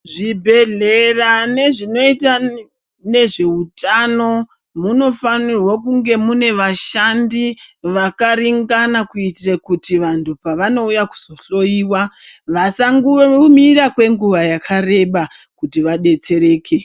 Zvibhedhlera nezvinoita nezveutano munofanirwa kunge mune vashandi vakaringana kuitire kuti vandu pavanouya kuzohloyiwa vasamira kwenguva yakareba kuti vabetsereke.